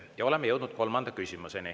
Ja oleme jõudnud kolmanda küsimuseni.